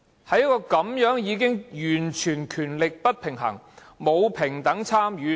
這個議會的權力已經完全不平衡，沒有平等參與。